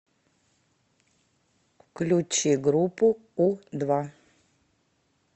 включи группу у два